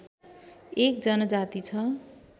एक जनजाति छ